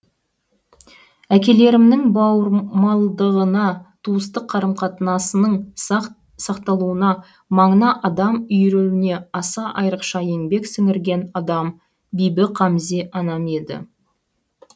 әкелерімнің бауырмалдығына туыстық қарым қатынасының сақталуына маңына адам үйірілуіне аса айрықша еңбек сіңірген адам бибіқамзе анам еді